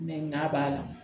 Mɛ n'a b'a la